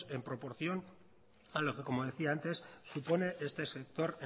en proporción a lo que como decía antes supone este sector